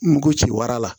Ngo ci wara la